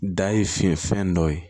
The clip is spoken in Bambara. Da ye finfɛn dɔ ye